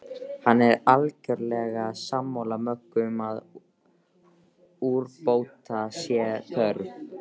Hann er algerlega sammála Möggu um að úrbóta sé þörf.